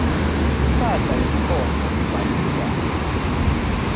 imphahla yemcondvo kubhaliswa